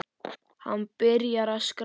Hann byrjar að skrá.